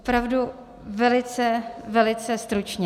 Opravdu velice, velice stručně.